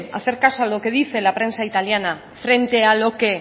hacer caso a lo que dice la prensa italiana frente a lo que